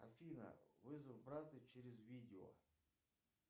афина вызов брата через видео